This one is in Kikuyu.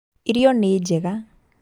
Irio nĩ njega